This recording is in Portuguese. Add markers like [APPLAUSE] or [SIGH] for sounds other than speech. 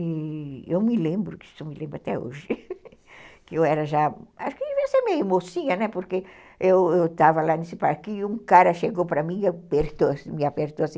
E eu me lembro, isso eu me lembro até hoje, [LAUGHS] que eu era já, acho que ia ser meio mocinha, né, porque eu tava lá nesse parquinho e um cara chegou para mim e apertou, me apertou assim.